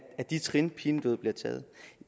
at de trin pinedød bliver taget